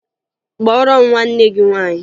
Kpọọrọ m nwanne gị nwaanyị!